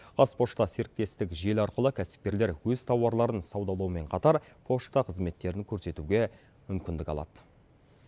қазпошта серіктестік желі арқылы кәсіпкерлер өз тауарларын саудалаумен қатар пошта қызметтерін көрсетуге мүмкіндік алады